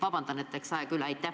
Vabandust, et aeg läks üle!